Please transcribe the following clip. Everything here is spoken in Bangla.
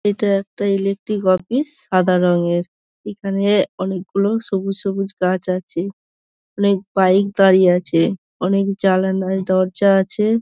এটা একটা ইলেক্ট্রিক অফিস সাদা রঙের এখানে অনেক গুলো সবুজ সবুজ গাছ আছে অনেক বাইক দাঁড়িয়ে আছে অনেক জানালায় দরজা আছে।